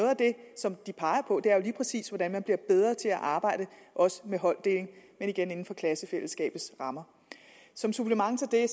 som de peger på er lige præcis hvordan man bliver bedre til at arbejde med holddeling men igen inden for klassefællesskabets rammer som supplement til det